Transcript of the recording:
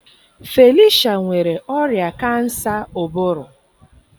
Felicia nwere ọrịa kansa ụbụrụ.